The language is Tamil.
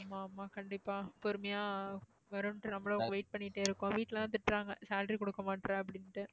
ஆமா ஆமா கண்டிப்பா. பொறுமையா வருங்கிற மாதிரி wait பண்ணிட்டே இருக்கோம். வீட்டுல எல்லாம் திட்டுறாங்க salary கொடுக்க மாட்ற அப்படினுட்டு.